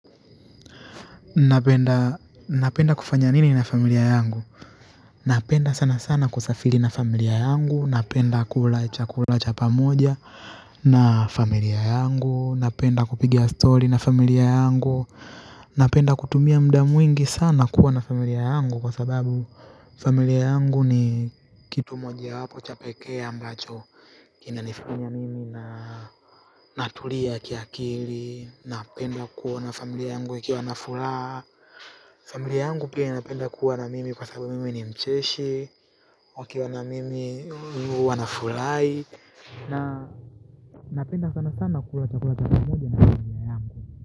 Napenda kufanya nini na familia yangu? Napenda sana sana kusafiri na familia yangu. Napenda kula chakula cha pamoja na familia yangu. Napenda kupiga story na familia yangu. Napenda kutumia muda mwingi sana kuwa na familia yangu kwa sababu familia yangu ni kitu mojawapo cha pekee ambacho kinanifanya mimi natulia kiakili. Napenda kuona familia yangu ikiwa na furaha. Kwa familia yangu pia napenda kuwa nami kwa sababu mimi ni mcheshi. Wakiwa na mimi wanafurahi. Na napenda sana sana kula chakula cha mchana na familia yangu.